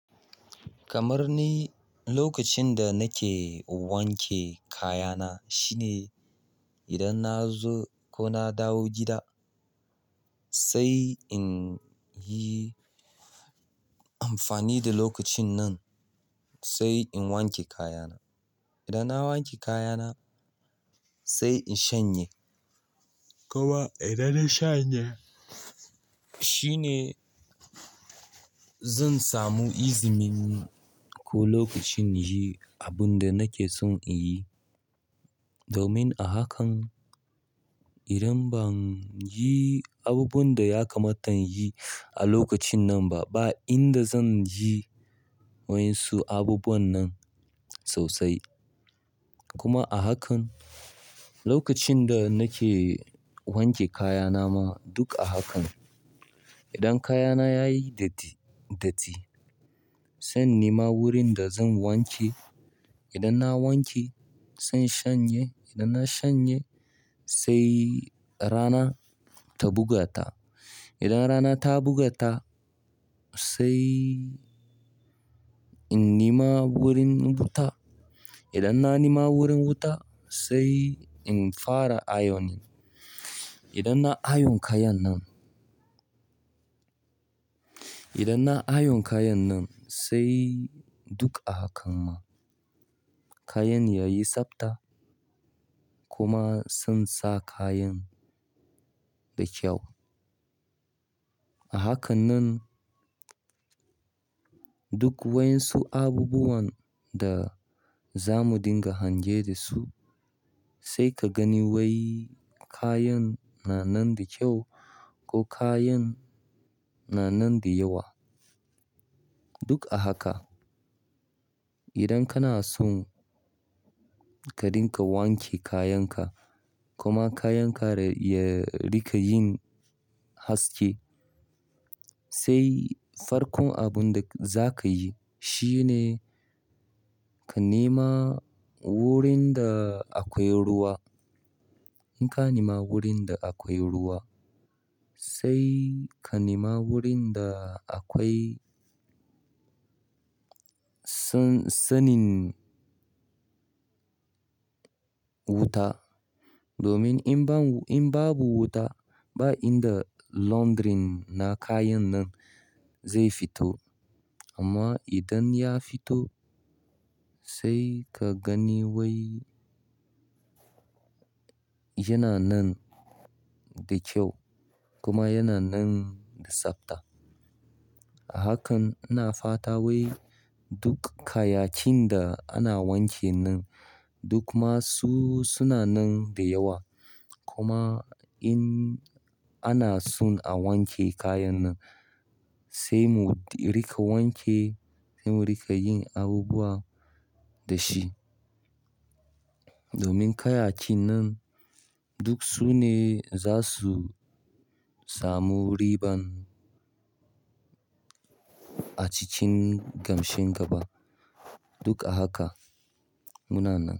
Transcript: Kamar ni lokacin da nake wanke kayana shine idan na zo ko na dawo gida sai in yi amfani da lokacin nan sai in wanke kayana. Idan na wanke kayana sai in shanye. Koma idan na shanye shine zan samu izinin ko lokacin yi abin da nake son in yi. Domin a hakan idan ban yi abubuwan da ya kamata yin a lokacin nan ba, ba inda zan yi wa yinsu abubuwan nan sosai. Kuma a hakan lokacin da nake wanke kayana ma duk a haka. Idan kayana yayi datti, datti zan nima wurin da zan wanke. Idan na wanke zan shanye. Idan na shanye sai rana ta bugata. Idan rana ta bugata sai in nima wurin wuta. Idan na nima wurin wuta sai in fara ayonin. Idan na ayon kayan nan, idan na ayon kayan nan sai duk a haka ma kayan yayi tsabta kuma zan sa kayan da kyau. A haka nan. Duk waƴansu abubuwan da zamu dinga hange dasu sai kagani wai kayan na nan da ƙyau ko kayan na nan da yawa. Duk a haka idan kana son ka rinƙa wanke kayan ka kuma kayanka ya rinƙa yin haske sai farkon abun da zakayi shine kanema wurin da akwai ruwa in ka nima wurin da akwai ruwa sai ka nima wurin da akwai san-sannin wuta. Domin in ban, in babu wuta ba inda laundry na kayan nan zai fito. Amma idan ya fito sai ka gani wai yana nan da kyau kuma yana nan da tsabta. A hakan ina fata wai duk kayakin da ana wankin nan duk masu suna nan dayawa kuma in ana son a wanke kayan nan sai mu riƙa wanke, sai mu riƙa yin abubuwa da shi. Domin kayakin nan duk su ne za su samu riban a cikin gamshin gaba. Duk a haka muna nan.